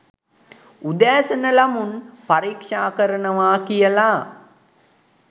උදෑසන ළමුන් පරික්ෂා කරනවා කියලා